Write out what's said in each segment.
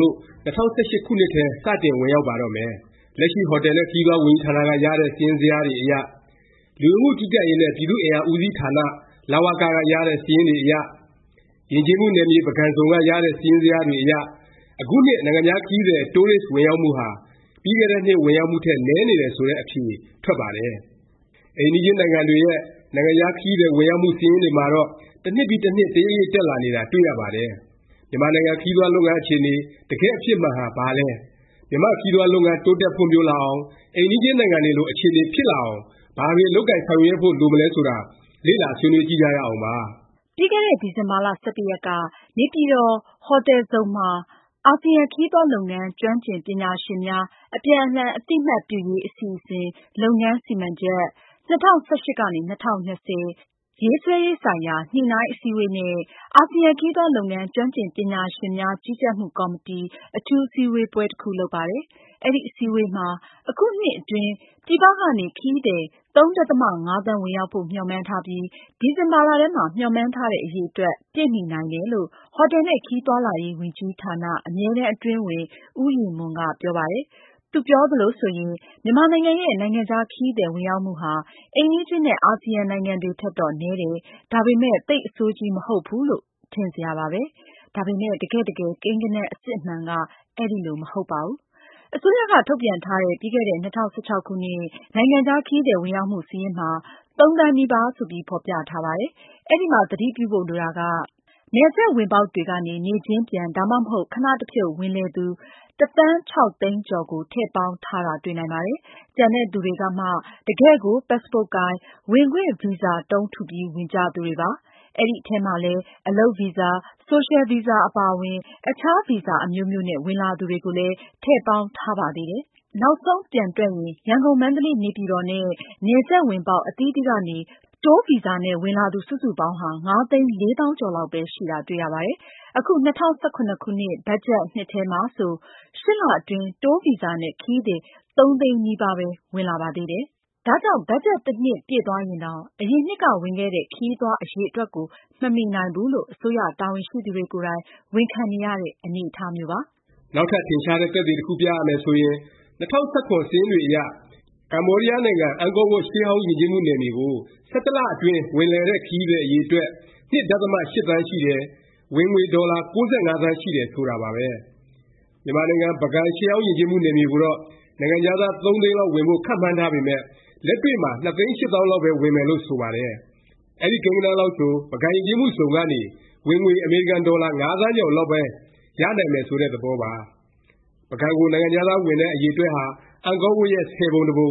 လို့ ၂၀၁၈ ခုနှစ်ထဲ စတင်ဝင်ရောက်ပါတော့မယ်။ လက်ရှိ ဟော်တယ်နဲ့ ခရီးသွား ဝန်ကြီးဌာနက ရတဲ့ စာရင်းဇယားတွေအရ၊ လူဝင်မှုကြီးကြပ်ရေးနဲ့ ပြည်သူ့အင်အား ဦးစီးဌာန လဝက က ရတဲ့ စာရင်းတွေအရ၊ ယဉ်ကျေးမှုနယ်မြေ ပုဂံဇုံ က ရတဲ့ စာရင်းဇယားတွေအရ အခုနှစ် နိုင်ငံခြား ခရီးသည် Tourist ဝင်ရောက်မှုဟာ ပြီးခဲ့တဲ့နှစ် ဝင်ရောက်မှုထက် နည်းနေတယ် ဆိုတဲ့ အဖြေ ထွက်ပါတယ်။ အိမ်နီးချင်းနိုင်ငံတွေရဲ့ နိုင်ငံခြား ခရီးသည် ဝင်ရောက်မှု စာရင်းတွေမှာတော့ တစ်နှစ်ပြီး တစ်နှစ် တရိပ်ရိပ် တက်လာနေတာ တွေ့ရပါတယ်။ မြန်မာနိုင်ငံ ခရီးသွားလုပ်ငန်း အခြေအနေ တကယ့်အဖြစ်မှန်ဟာ ဘာလဲ၊ မြန်မာ့ ခရီးသွားလုပ်ငန်း တိုးတက်ဖွံ့ဖြိုးလာအောင်၊ အိမ်နီးချင်းနိုင်ငံတွေလို အခြေအနေ ဖြစ်လာအောင် ဘာတွေ လုပ်ကိုင်ဆောင်ရွက်ဖို့ လိုမလဲဆိုတာ လေ့လာ ဆွေးနွေးကြည့်ကြရအောင်ပါ။ ပြီးခဲ့တဲ့ ဒီဇင်ဘာ (၁၁)ရက်က နေပြည်တော် ဟိုတယ်ဇုန်မှာ အာဆီယံ ခရီးသွားလုပ်ငန်း ကျွမ်းကျင်ပညာရှင်များ အပြန်အလှန်အသိအမှတ်ပြုရေး အစီအစဉ် လုပ်ငန်းစီမံချက် (၂၀၁၈-၂၀၂၀) ရေးဆွဲရေးဆိုင်ရာ ညှိနှိုင်းအစည်းဝေးနဲ့ အာဆီယံခရီးသွားလုပ်ငန်း ကျွမ်းကျင် ပညာရှင်များကြီးကြပ်မှု ကော်မတီ အထူးအစည်းအဝေးပွဲ တစ်ခု လုပ်ပါတယ်။ အဲဒီ အစည်းအဝေးပွဲမှာ အခုနှစ်အတွင်း ပြည်ပကနေ ခရီးသည် (၃ ဒသမ ၅)သန်း ဝင်ရောက်ဖို့ မျှော်မှန်းထားပြီး ဒီဇင်ဘာလထဲမှာ မျှော်မှန်းထားတဲ့ အရေအတွက် ပြည့်မီနိုင်တယ်လို့ ဟိုတယ်နှင့်ခရီးသွားလာရေးဝန်ကြီးဌာန အမြဲတမ်းအတွင်းဝန် ဦးရည်မွန်က ပြောပါတယ်။ သူပြောသလိုဆိုရင် မြန်မာနိုင်ငံရဲ့ နိုင်ငံခြား ခရီးသည် ဝင်ရောက်မှုဟာ အိမ်နီးချင်းနဲ့ အာစီယံ နိုင်ငံတွေထက်တော့ နည်းတယ်၊ ဒါပေမယ့် သိပ် အဆိုးကြီး မဟုတ်ဘူးလို့ ထင်စရာပါပဲ။ ဒါပေမယ့် တကယ့်တကယ် ကိန်းဂဏန်း အစစ်အမှန်က အဲလို မဟုတ်ပါဘူး။ အစိုးရက ထုတ်ပြန်ထားတဲ့ ပြီးခဲ့တဲ့ ၂၀၁၆ ခုနှစ် နိုင်ငံခြား ခရီးသည် ဝင်ရောက်မှု စာရင်းမှာ ၃ သန်းနီးပါး ဆိုပြီး ဖော်ပြထားပါတယ်။ အဲဒီမှာ သတိပြုဖို့ လိုတာက နယ်စပ်ဝင်ပေါက်တွေကနေ နေ့ချင်းပြန်၊ ဒါမှမဟုတ် ခဏတဖြုတ် ဝင်လည်သူ တစ်သန်း ခြောက်သိန်းကျော်ကို ထည့်ပေါင်းထားတာ တွေ့နိုင်ပါတယ်။ ကျန်တဲ့သူတွေကမှ တကယ့်ကို ပတ်စ်ပို့ကိုင်၊ ဝင်ခွင့်ဗီဇာတုံး ထုပြီး ဝင်ကြသူတွေပါ။ အဲဒီအထဲမှာလည်း အလုပ်ဗီဇာ၊ ဆိုရှယ်ဗီဇာအပါအဝင် အခြားဗီဇာ အမျိုးမျိုးနဲ့ ဝင်လာသူတွေကိုလည်း ထည့်ပေါင်းထားပါသေးတယ်။ နောက်ဆုံး ပြန်တွက်ရင် ရန်ကုန်၊ မန္တလေး၊ နေပြည်တော်နဲ့ နယ်စပ်ဝင်ပေါက် အသီးသီးကနေ တိုးဗီဇာနဲ့ ဝင်လာသူ စုစုပေါင်းဟာ ၅သိန်း ၄သောင်းကျော်လောက်ပဲ ရှိတာ တွေ့ရပါတယ်။ အခု ၂၀၁၇ ဘတ်ဂျက်နှစ်ထဲမှာဆို ၈ လ အတွင်း တိုးဗီဇာနဲ့ ခရီးသည် ၃ သိန်းနီးပါးပဲ ဝင်လာပါသေးတယ်။ ဒါကြောင့် ဘတ်ဂျက်နှစ် တစ်နှစ် ပြည့်သွားရင်တောင် အရင်နှစ်က ဝင်ခဲ့တဲ့ ခရီးသွား အရည်အတွက်ကို မမီနိုင်ဘူးလို့ အစိုးရ တာဝန်ရှိသူတွေကိုယ်တိုင် ဝန်ခံနေရတဲ့ အနေအထားမျိုးပါ။ နောက်ထပ် ထင်ရှားတဲ့ သက်သေ တစ်ခုပြရမယ် ဆိုရင် ၂၀၁၇ စာရင်းတွေအရ ကမ္ဘောဒီးယားနိုင်ငံ အန်ကောဝပ် ရှေးဟောင်းယဉ်ကျေးမှု နယ်မြေကို ၁၁လအတွင်း ဝင်လည်တဲ့ ခရီးသည် အရည်အတွက် ၂ ဒသမ ၈ သန်းရှိတယ်။ ဝင်ငွေ ဒေါ်လာ ၉၅ သန်းရှိတယ် ဆိုတာပါပဲ။ မြန်မာနိုင်ငံ ပုဂံ ရှေးဟောင်းယဉ်ကျေးမှု နယ်မြေကိုတော့ နိုင်ငံခြားသား ၃ သိန်းလောက် ဝင်ဖို့ မှန်းထားပေမယ့် လက်တွေ့မှာ ၂ သိန်း၈ သောင်းလောက်ပဲ ဝင်မယ်လို့ ဆိုပါတယ်။ အဲဒီကိန်းဂဏန်းလောက်ဆို ပုဂံယဉ်ကျေးမှုဇုံကနေ ဝင်ငွေ အမေရိကန်ဒေါ်လာ ၅ သန်းကျော်လောက်ပဲ ရနိုင်မယ် ဆိုတဲ့ သဘောပါ။ ပုဂံကို နိုင်ငံခြားသား ဝင်တဲ့ အရည်အတွက်ဟာ အန်ကောဝပ်ရဲ့ ဆယ်ပုံတစ်ပုံ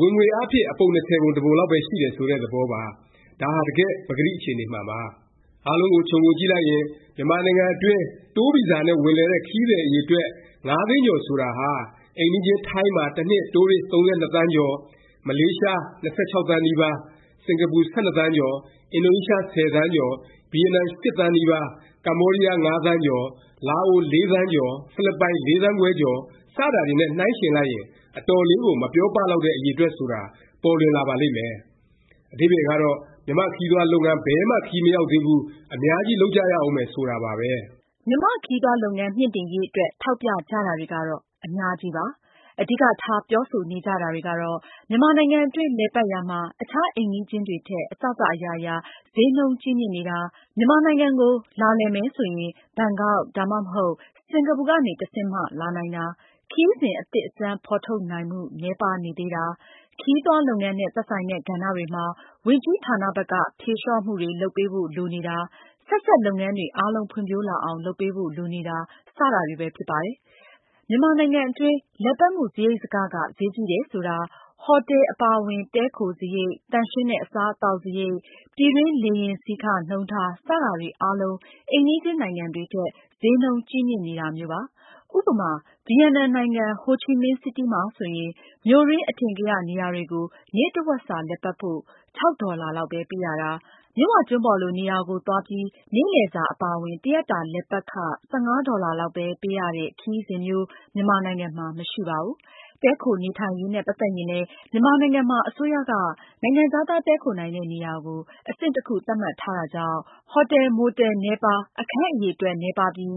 ၊ ဝင်ငွေအားဖြင့် အပုံ၂၀ပုံ တစ်ပုံလောက်ပဲ ရှိတယ် ဆိုတဲ့ သဘောပါ။ ဒါဟာ တကယ့် ပကတိအခြေအနေမှန်ပါ။ အားလုံးကို ခြုံငုံကြည့်လိုက်ရင် မြန်မာနိုင်ငံတွင်း တိုးဗီဇာနဲ့ ဝင်လည်တဲ့ ခရီးသည် အရည်အတွက် ၅ သိန်းကျော် ဆိုတာဟာ အိမ်နီးချင်း ထိုင်းမှာ တစ်နှစ် တိုးရစ် ၃၂ သန်းကျော်၊ မလေးရှား ၂၆ သန်းနီးပါး၊ စင်ကာပူ ၁၂ သန်းကျော်၊ အင်ဒိုနီးရှား ၁၀ သန်းကျော်၊ ဗီယက်နမ် ၈ သန်းနီးပါး၊ ကမ္ဘောဒီးယား ၅ သန်းကျော်၊ လာအို ၄ သန်းကျော်၊ ဖိလစ်ပိုင် ၄ သန်းခွဲကျော် စတာတွေနဲ့ နှိုင်းယှဉ်လိုက်ရင် အတော်လေးကို မပြောပလောက်တဲ့ အရည်အတွက် ဆိုတာ ပေါ်လွင်လာပါလိမ့်မယ်။ အဓိပ္ပါယ်ကတော့ မြန်မာ့ခရီးသွားလုပ်ငန်း ဘယ်မှ ခရီးမရောက်သေးဘူး၊ အများကြီး လုပ်ကြရဦးမယ် ဆိုတာပါပဲ။ မြန်မာ့ခရီးသွားလုပ်ငန်း မြှင့်တင်ရေး အတွက် ထောက်ပြကြတာတွေကတော့ အများကြီးပါ။ အဓိကထား ပြောဆိုနေကြတာတွေကတော့ မြန်မာနိုင်ငံအတွင်း လည်ပတ်ရာမှာ အခြား အိမ်နီးချင်းတွေထက် အစစ အရာရာ ဈေးနှုန်းကြီးမြင့်နေတာ၊ မြန်မာနိုင်ငံကို လာလည်မယ်ဆိုရင် ဘန်ကောက် ဒါမှမဟုတ် စင်္ကာပူကနေ တဆင့်မှ လာနိုင်တာ၊ ခရီးစဉ် အသစ်အဆန်း ဖော်ထုတ်နိုင်မှု နည်းပါးနေသေးတာ၊ ခရီးသွားလုပ်ငန်းနဲ့ သက်ဆိုင်တဲ့ ကဏ္ဍတွေမှာ ဝန်ကြီးဌာနဘက်က ဖြေလျော့မှုတွေ လုပ်ပေးဖို့ လိုနေတာ၊ ဆက်စပ် လုပ်ငန်းတွေအားလုံး ဖွံ့ဖြိုးလာအောင် လုပ်ပေးဖို့ လိုနေတာ စတာတွေပဲ ဖြစ်ပါတယ်။ မြန်မာနိုင်ငံအတွင်း လည်ပတ်မှု စားရိတ်စက ဈေးကြီးတယ် ဆိုတာ ဟော်တယ် အပါအဝင် တည်းခိုစားရိတ်၊ သန့်ရှင်းတဲ့ အစားအသောက် စားရိတ်၊ ပြည်တွင်း လေယာဉ်စီးခ နှုန်းထား စတာတွေ အားလုံး အိမ်နီးချင်းနိုင်ငံတွေထက် ဈေးနှုန်းကြီးမြင့်နေတာမျိုးပါ။ ဥပမာ ဗီယက်နမ်နိုင်ငံ ဟိုချီမင်းစီးတီး မှာဆိုရင် မြို့တွင်း အထင်ကရ နေရာတွေကို နေ့တစ်ဝက်စာ လည်ပတ်ဖို့ ၆ ဒေါ်လာလောက် ပေးရတာ၊ မြစ်ဝကျွန်းပေါ်လို နေရာကို သွားပြီး နေ့လည်စာ အပါအဝင် တစ်ရက်တာ လည်ပတ်ခ ၁၅ ဒေါ်လာလောက် ပေးရတဲ့ ခရီးစဉ်မျိုး မြန်မာနိုင်ငံမှာ မရှိပါဘူး။ တည်းခို နေထိုင်ရေးနဲ့ ပတ်သက်ရင်လည်း မြန်မာနိုင်ငံမှာ အစိုးရက နိုင်ငံခြားသား တည်းခိုနိုင်တဲ့ နေရာကို အဆင့်တစ်ခု သတ်မှတ်ထားတာကြောင့် ဟော်တယ်၊ မိုတယ် နည်းပါး၊ အခန်းအရည် အတွက် နည်းပါးပြီး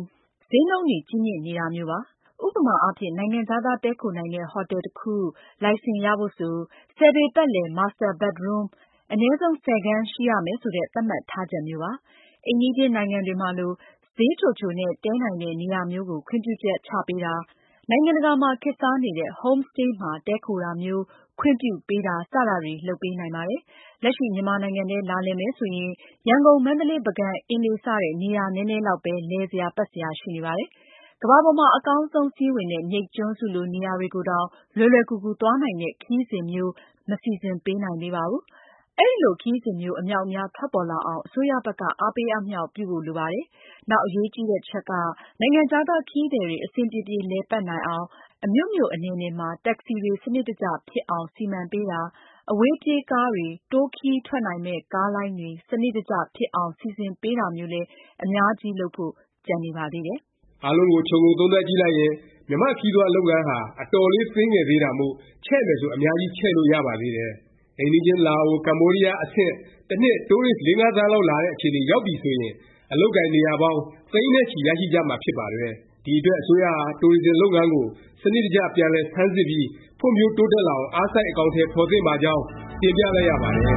ဈေးနှုန်းတွေကြီးမြင့်နေတာမျိုးပါ။ ဥပမာအားဖြင့် နိုင်ငံခြားသား တည်းခိုနိုင်တဲ့ ဟော်တယ်တစ်ခု လိုင်စင်ရဖို့ဆို ၁၀ ပေပတ်လည် Master bedroom အနည်းဆုံး ၁၀ခန်း ရှိရမယ် ဆိုတဲ့ သတ်မှတ်ထားချက်မျိုးပါ။ အိမ်နီးချင်းနိုင်ငံတွေမှာလို ဈေးချိုချိုနဲ့ တည်းနိုင်တဲ့ နေရာမျိုးကို ခွင့်ပြုချက် ချပေးတာ၊ နိုင်ငံတကာမှာ ခေတ်စားနေတဲ့ Homestay မှာတည်းခိုတာမျိုး ခွင့်ပြုပေးတာ စတာတွေ လုပ်ပေးနိုင်ပါတယ်။ လက်ရှိ မြန်မာနိုင်ငံထဲ လာလည်မယ် ဆိုရင် ရန်ကုန်၊ မန္တလေး၊ ပုဂံ၊ အင်းလေး စတဲ့ နေရာနည်းနည်းလောက်ပဲ လည်စရာ ပတ်စရာ ရှိနေပါတယ်။ ကမ္ဘာပေါ်မှာ အကောင်းဆုံး စာရင်းဝင်တဲ့ မြိတ်ကျွန်းစုလို နေရာတွေကိုတောင် လွယ်လွယ်ကူကူ သွားနိုင်တဲ့ ခရီးစဉ်မျိုး မစီစဉ်ပေးနိုင်သေးပါဘူး။ အဲလို ခရီးစဉ်မျိုး အမြောက်အများ ထွက်ပေါ်လာအောင် အစိုးရဘက်က အားပေးအားမြှောက် ပြုဖို့ လိုပါတယ်။ နောက်အရေးကြီးတာ တစ်ချက်က နိုင်ငံခြားသား ခရီးသည်တွေ အဆင်ပြေပြေ လည်ပတ်နိုင်အောင် အမြို့မြို့ အနယ်နယ်မှာ တက္ကစီတွေ စနစ်တကျ ဖြစ်အောင် စီမံပေးတာ၊ အဝေးပြေးကားတွေ၊ တိုးခရီးထွက်နိုင်မယ့် ကားလိုင်းတွေ စနစ်တကျ ဖြစ်အောင် စီစဉ်ပေးတာမျိုးလည်း အများကြီး လုပ်ဖို့ ကျန်နေပါသေးတယ်။ အားလုံးကို ခြုံငုံသုံးသပ်ကြည့်လိုက်ရင် မြန်မာ့ခရီးသွားလုပ်ငန်းဟာ အတော်လေး သေးငယ်သေးတာမို့၊ ချဲ့မယ်ဆို အများကြီး ချဲ့လို့ရပါသေးတယ်။ အိမ်နီးချင်း လာအို၊ ကမ္ဘောဒီးယား အဆင့် တစ်နှစ် တိုးရစ် ၄-၅ သန်းလောက် လာတဲ့ အခြေအနေ ရောက်ပြီဆိုရင် အလုပ်အကိုင် နေရာပေါင်း သိန်းနဲ့ချီ ရရှိကြမှာ ဖြစ်ပါတယ်။ ဒီအတွက် အစိုးရဟာ တိုရစ်ဇင် လုပ်ငန်းကို စနစ်တကျ ပြန်လည် ဆန်းစစ်ပြီး ဖွံ့ဖြိုးတိုးတက်လာအောင် အားစိုက် အကောင်အထည် ဖော်သင့်ပါကြောင်း တင်ပြလိုက်ရပါတယ်။